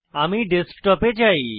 আমি ডেস্কটপ এ চাই